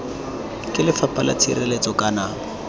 ke lefapha la tshireletso kana